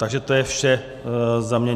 Takže to je vše za mě.